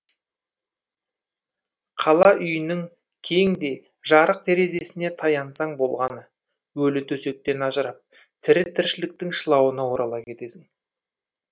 қала үйінің кең де жарық терезесіне таянсаң болғаны өлі төсектен ажырап тірі тіршіліктің шылауына орала кетесің